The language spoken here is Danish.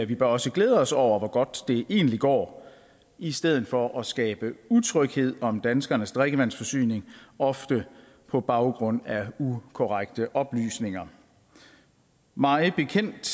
vi bør også glæde os over hvor godt det egentlig går i stedet for at skabe utryghed om danskernes drikkevandsforsyning ofte på baggrund af ukorrekte oplysninger mig bekendt